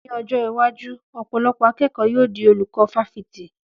Ní ọjọ́ iwájú, ọ̀pọ̀lọpọ̀ akẹ́kọ̀ọ́ yóò di olùkọ́ fáfitì